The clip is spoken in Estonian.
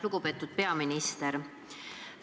Lugupeetud peaminister!